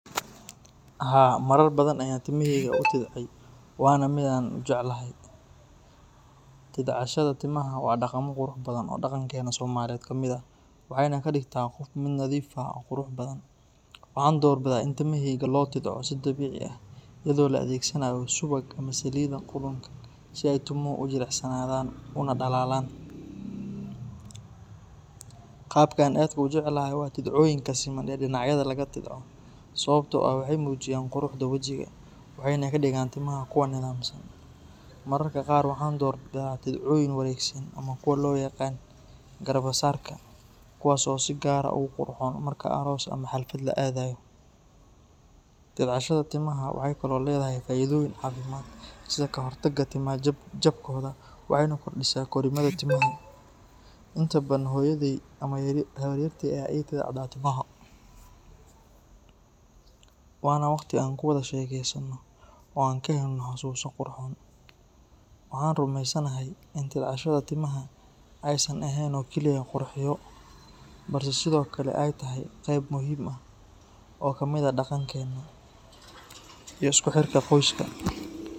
Haa, marar badan ayaan timahayga u tidcday waana mid aan aad u jeclahay. Tidcashada timaha waa dhaqamo qurux badan oo dhaqankeena Soomaaliyeed ka mid ah, waxayna ka dhigtaa qofka mid nadiif ah oo qurux badan. Waxaan doorbidaa in timahayga loo tidco si dabiici ah, iyadoo la adeegsanayo subag ama saliidda qudhunka si ay timuhu u jilicsanaadaan una dhalaalaan. Qaabka aan aadka u jeclahay waa tidcooyinka siman ee dhinacyada laga tidco, sababtoo ah waxay muujiyaan quruxda wejiga waxayna ka dhigaan timaha kuwo nidaamsan. Mararka qaar waxaan doorbidaa tidcooyin wareegsan ama kuwa loo yaqaan garbasaarka, kuwaas oo si gaar ah ugu qurxoon marka aroos ama xaflad la aadayo. Tidcashada timaha waxay kaloo leedahay faa’iidooyin caafimaad sida ka hortagga timaha jabkooda, waxayna kordhisaa korriimada timaha. Inta badan hooyaday ama habaryartay ayaa ii tidca timaha, waana waqti aan ku wada sheekeysano oo aan ka helno xasuuso qurxoon. Waxaan rumeysanahay in tidcashada timaha aysan ahayn oo keliya qurxiyo, balse sidoo kale ay tahay qayb muhiim ah oo ka mid ah dhaqankeena iyo isku xirka qoyska.